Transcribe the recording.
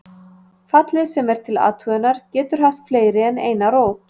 Fallið sem er til athugunar getur haft fleiri en eina rót.